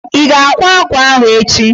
Ị ga-akwa akwa ahụ echi?